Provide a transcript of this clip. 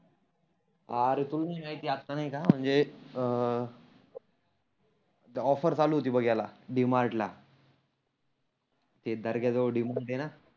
आरे तुला मी नही का आता नाही का म्हणजे अं ऑफरचालू होती बघ याला डी मार्टला ते दर्गेजवळ डी मार्ट आहे ना.